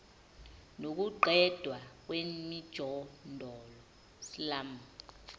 nokuqedwa kwemijondolo slum